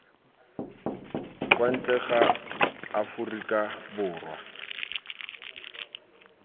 kwa ntle ga aforika borwa